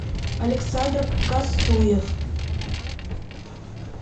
александр кастуев